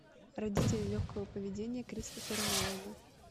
родители легкого поведения кристофера нолана